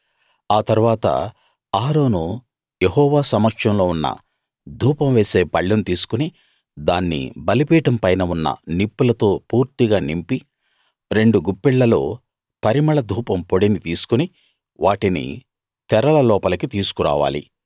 ఆ తరువాత అహరోను యెహోవా సమక్షంలో ఉన్న ధూపం వేసే పళ్ళెం తీసుకుని దాన్ని బలిపీఠం పైన ఉన్ననిప్పులతో పూర్తిగా నింపి రెండు గుప్పిళ్ళలో పరిమళ ధూపం పొడిని తీసుకుని వాటిని తెరల లోపలికి తీసుకురావాలి